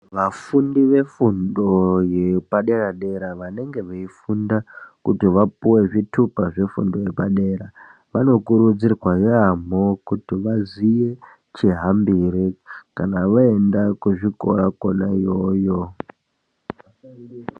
Vafundi vefundo yepadera dera vanenge veifunda kuti vapuwe zvitupa zvefundo yepadera , vanokurudzirwa yamho kuti vaziye chihambire kana vaenda kuzvikora kona iyoyo